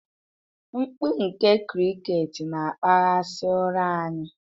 Mkpu nke cricket na-akpaghasị ụra anyị